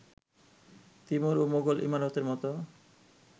Timur ও মুঘল ইমারতের মতো